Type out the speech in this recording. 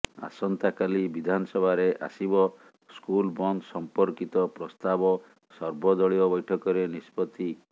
ଆସନ୍ତାକାଲି ବିଧାନସଭାରେ ଆସିବ ସ୍କୁଲ ବନ୍ଦ ସଂପର୍କିତ ପ୍ରସ୍ତାବ ସର୍ବଦଳୀୟ ବୈଠକରେ ନିଷ୍ପତ୍ତି